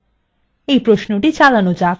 এই প্রশ্নটি চালানো যাক